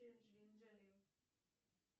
анджелины джоли